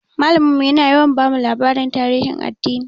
Malamin mu yana yawa bamu labaran tarihin addini.